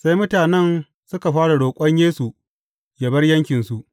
Sai mutane suka fara roƙon Yesu yă bar yankinsu.